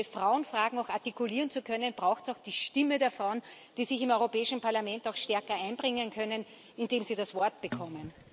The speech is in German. Um diese Frauenfragen auch artikulieren zu können, braucht es auch die Stimme der Frauen, die sich im Europäischen Parlament auch stärker einbringen können, indem sie das Wort bekommen.